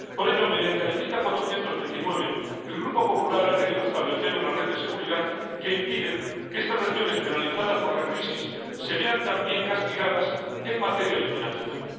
Por ello, mediante la enmienda 429, el Grupo Popular ha querido establecer una red de seguridad que impida que estas regiones penalizadas por la crisis se vean también castigadas en materia de financiación.